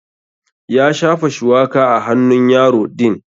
Ya shafa shuwaka a hannun yaro din.